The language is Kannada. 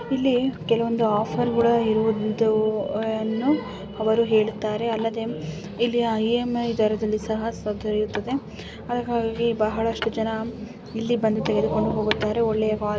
ಇಲ್ಲಿ ಕೆಲವೊಂದು ಆಫರ್‌ಗಳು ಇರುವುದನ್ನು ಅವರು ಹೇಳುತ್ತಾರೆ ಅಲ್ಲದೇ ಇಲ್ಲಿ ಇ.ಎಂ.ಐ ದರದಲ್ಲಿ ಸಹ ದೊರೆಯುತ್ತದೆ ಅದಕ್ಕಾಗಿ ಬಹಳಷ್ಟು ಜನ ಇಲ್ಲಿ ಬಂದು ತೆಗೆದುಕೊಂಡು ಹೋಗುತ್ತಾರೆ. ಒಳ್ಳೆಯ ಕ್ವಾ--